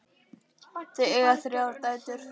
Þau eiga þrjár dætur.